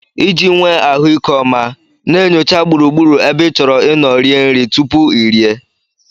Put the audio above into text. Iji nwee ahụike ọma, na-enyocha gburugburu ebe ị chọrọ ịnọ rie nri tupu ị rie.